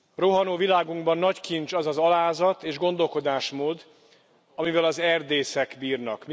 Rohanó világunkban nagy kincs az az alázat és gondolkodásmód, amivel az erdészek bírnak.